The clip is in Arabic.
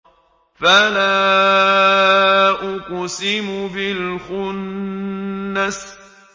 فَلَا أُقْسِمُ بِالْخُنَّسِ